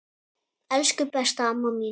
Elsku, besta amma mín.